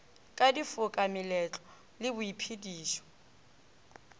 ka difoka meletlo le boiphedišo